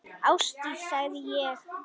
Ásdís, sagði ég.